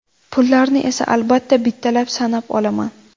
Pullarni esa, albatta, bittalab sanab olaman!